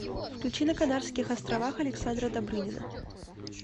включи на канарских островах александра добрынина